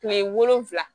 Kile wolonfila